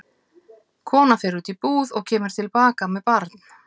Kona fer út í búð og kemur til baka með barn.